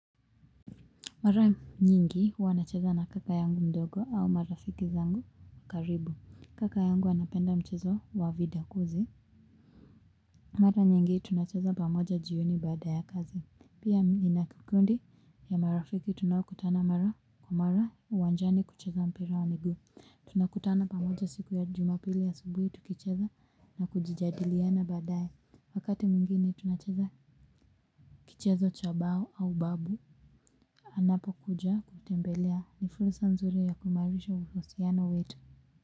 Mara nyingi huwa nacheza na kaka yangu mdogo au marafiki zangu wa karibu. Kaka yangu anapenda mchezo wa vidakuzi. Mara nyingi tunacheza pamoja jioni bada ya kazi. Pia nina kikundi ya marafiki tunaokutana mara kwa mara uwanjani kucheza mpira wa miguu. Tunakutana pamoja siku ya jumapili ya asubuhi tukicheza na kujijadiliana badae. Wakati mwingine tunacheza kichezo cha bao au babu. Anapokuja kutembelea ni fursa nzuri ya kuimarisha uhusiano wetu.